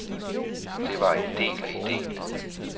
Det var en del af idéen.